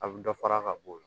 A bɛ dɔ fara ka b'o la